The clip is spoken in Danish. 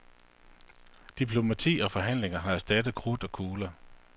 Diplomati og forhandlinger har erstattet krudt og kugler.